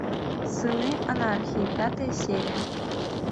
сыны анархии пятая серия